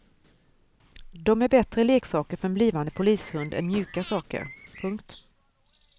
De är bättre leksaker för en blivande polishund än mjuka saker. punkt